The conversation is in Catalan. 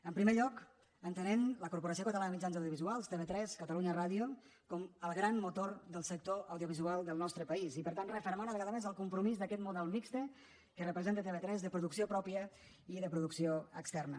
en primer lloc entenent la corporació catalana de mitjans audiovisuals tv3 catalunya ràdio com el gran motor del sector audiovisual del nostre país i per tant refermar una vegada més el compromís d’aquest model mixt que representa tv3 de producció pròpia i de producció externa